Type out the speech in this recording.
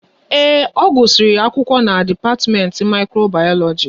Ee, ọ gusiri akwụkwọ n'dipatimenti Mikrobayoloji